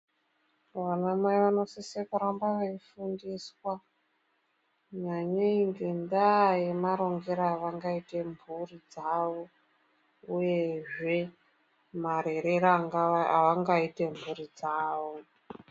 Vana mai vanosise kuramba vefundiswa nyanyei ngendaa yemarongere avangaite mhuri dzavo uye zvee marerero avangaita mhuri dzawo